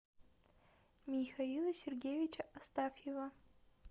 михаила сергеевича астафьева